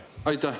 Aitäh!